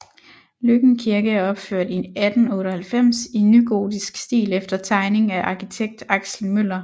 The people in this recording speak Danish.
Løkken Kirke er opført i 1898 i nygotisk stil efter tegning af arkitekt Axel Møller